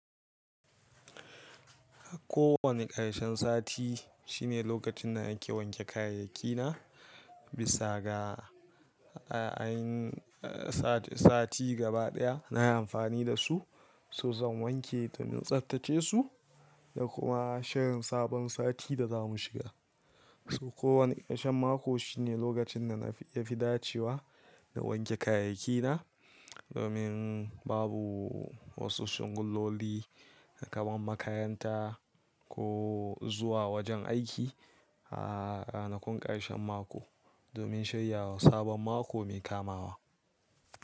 Kowane ƙarshen sati shine lokacin da ake wanke kayayyaki na bisa ga a yin sati gaba daya na amfani da su. So zan wanke domin tsaftace su da kuma shirin sabon sati da za mu shiga. So kowane ƙarshen mako shine lokacin da na ya fi dacewa na wanke kayayyaki na domin babu wasu shunguloli kamar makaranta ko zuwa wajen aiki a ranakun ƙarshen mako domin shiryawa sabon mako mai kamawa.